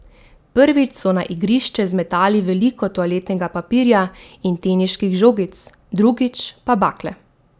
Prvič so na igrišče zmetali veliko toaletnega papirja in teniških žogic, drugič pa bakle.